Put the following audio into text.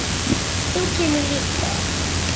Og ég var svelt.